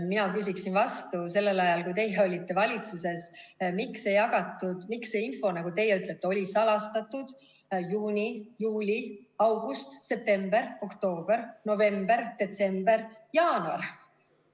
Mina küsin vastu: sellel ajal, kui teie olite valitsuses, miks neid ei jagatud, ja miks see info, nagu teie ütlete, oli salastatud juuni, juuli, august, september, oktoober, november, detsember, jaanuar?